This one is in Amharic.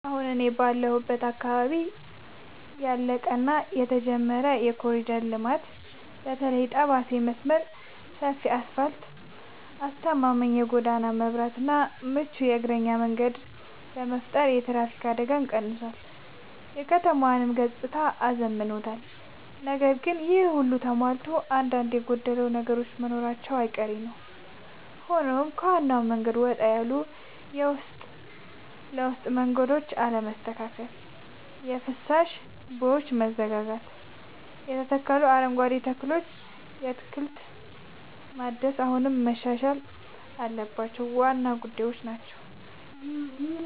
አሁን እኔ ባለሁበት አካባቢ ያለቀ እና የተጀመረ የኮሪደር ልማት (በተለይ የጠባሴ መስመር) ሰፊ አስፋልት: አስተማማኝ የጎዳና መብራትና ምቹ የእግረኛ መንገድ በመፍጠር የትራፊክ አደጋን ቀንሷል: የከተማዋንም ገጽታ አዝምኗል። ነገር ግን ይሄ ሁሉ ተሟልቶ አንዳንድ የጎደሉ ነገሮች መኖራቸው አይቀሬ ነዉ ሆኖም ከዋናው መንገድ ወጣ ያሉ የውስጥ ለውስጥ መንገዶች አለመስተካከል: የፍሳሽ ቦዮች መዘጋጋትና የተተከሉ አረንጓዴ ተክሎች የክትትል ማነስ አሁንም መሻሻል ያለባቸው ዋና ዋና ጉዳዮች ናቸው።